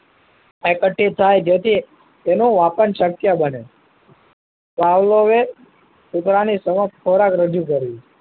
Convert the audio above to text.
એકત્રિત થાય જેથી તેનું વાપન શક્ય બને પાવલોએ કૂતરાની સમક્ષ ખોરાક રજૂ કર્યો